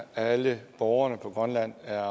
alle borgerne på grønland er